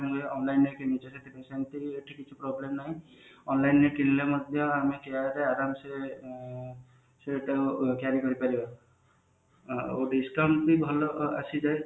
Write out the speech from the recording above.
ହୁଏ online ରେ କିଣିଛେ ଯଦି ସେମତି ବି ଏଠି କିଛି problem ନାହିଁ online ରେ କିଣିଲେ ମଧ୍ୟ ଆମେ care ରେ ଆରାମ ସେ ଦେଖେଇବାକୁ ନେଇପାରିବା discount ବି ଭଲ ଆସିଯାଏ